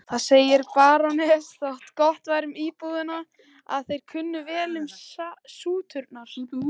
Það segir barónessan þó gott um íbúana að þeir kunna vel til sútunar.